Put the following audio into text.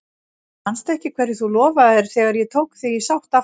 Manstu ekki hverju þú lofaðir þegar ég tók þig í sátt aftur?